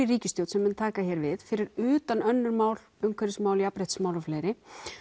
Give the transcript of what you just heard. ríkisstjórn sem mun taka hér við fyrir utan önnur mál eins umhverfismál jafnréttismál og fleiri